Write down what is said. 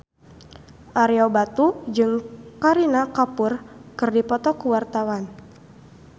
Ario Batu jeung Kareena Kapoor keur dipoto ku wartawan